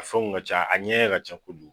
A fɛnw ka ca a ɲɛ ka kojugu